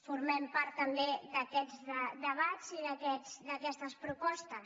formem part també d’aquests debats i d’aquestes propostes